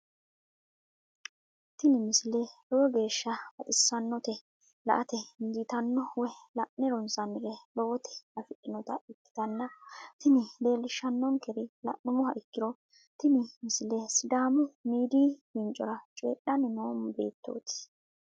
tini misile lowo geeshsha baxissannote la"ate injiitanno woy la'ne ronsannire lowote afidhinota ikkitanna tini leellishshannonkeri la'nummoha ikkiro tini misile sidaamu miidiyii fincora coyiidhanni noo beettooti.